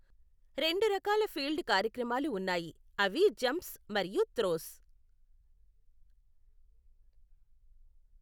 రెండు రకాల ఫీల్డ్ కార్యక్రమాలు ఉన్నాయి, అవి జంప్స్ మరియు త్రోస్.